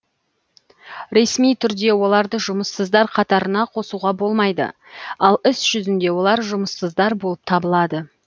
ресми түрде оларды жұмыссыздар қатарына қосуға болмайды ал іс жүзінде олар жұмыссыздар болып табылады